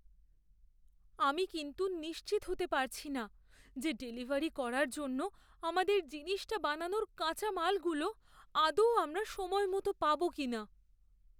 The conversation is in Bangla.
আমি কিন্তু নিশ্চিত হতে পারছি না যে ডেলিভারি করার জন্য আমাদের জিনিসটা বানানোর কাঁচা মালগুলো আদৌ আমরা সময়মতো পাবো কিনা।